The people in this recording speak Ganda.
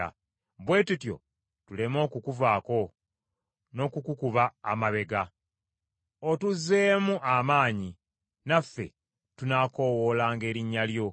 Bwe tutyo tuleme okukuvaako, n’okukukuba amabega. Otuzzeemu amaanyi, naffe tunaakoowoolanga erinnya lyo.